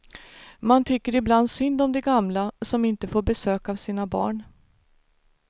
Man tycker ibland synd om de gamla, som inte får besök av sina barn.